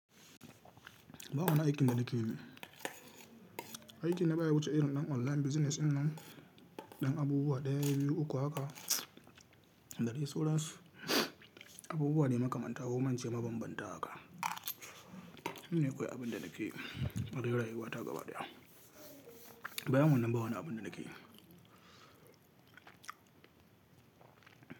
Ba wani aikin da nake yi ne. Aikin da baya wuce irin ɗan online business ɗinnan, ɗan abubuwa ɗaya, biyu, uku haka, da dai sauransu, abubuwa ne makamanta, ko kuma ince mabambanta haka. Ni akwai abin da nake, rai rayuwa wata gaba daya. Bayan wannan ba wani abun da nake yi.